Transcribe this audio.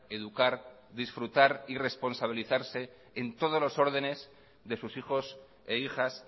educar disfrutar y responsabilizarse en todos los órdenes de sus hijos e hijas